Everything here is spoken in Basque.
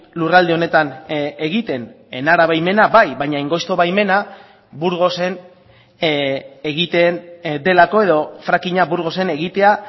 lurralde honetan egiten enara baimena bai baina angosto baimena burgosen egiten delako edo frackinga burgosen egitea